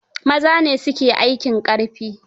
Maza ne su ke aikin ƙarfi.